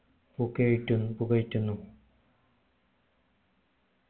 പൂകയ്റ്റുന്നു പുകയ്റ്റുന്നു